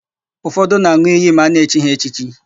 Ụfọdụ na-an̄ụ iyi ma a na-echi ha echichi.